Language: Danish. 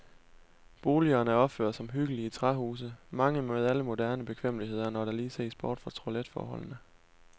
Boligerne er opført som hyggelige træhuse, mange med alle moderne bekvemmeligheder, når der lige ses bort fra toiletforholdene.